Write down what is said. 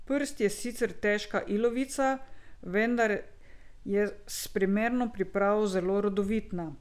Prst je sicer težka ilovica, vendar je s primerno pripravo zelo rodovitna.